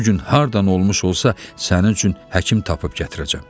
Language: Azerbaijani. Bu gün hardan olmuş olsa sənin üçün həkim tapıb gətirəcəm.